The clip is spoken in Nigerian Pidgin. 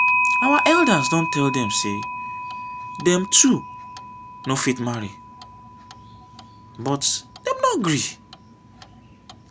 our elders don tell dem say dem two no fit marry but dem no gree